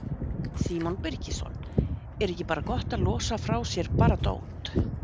Símon Birgisson: Er ekki bara gott að losa frá sér bara dót?